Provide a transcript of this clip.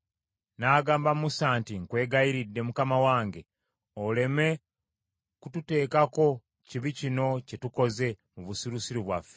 n’agamba Musa nti, “Nkwegayirira, mukama wange, oleme kututeekako kibi kino kye tukoze mu busirusiru bwaffe.